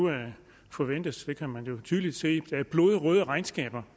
forventes det kan man jo tydeligt se blodrøde regnskaber